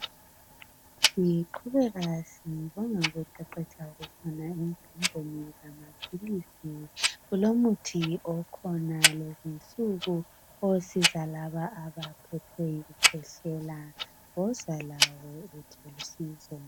Ngiqhubeka sibonga ukuqeqetsha okukhona emfundweni zamaphilisi kulomuthi okhona lezinsuku osiza laba abaphethwe yikukhwehlela. Woza lawe uthole usizo.